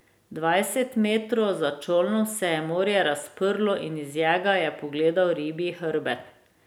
Dvajset metrov za čolnom se je morje razprlo in iz njega je pogledal ribji hrbet.